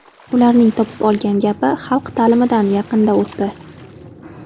Ularning topib olgan gapi, ‘Xalq ta’limidan yaqinda o‘tdi’.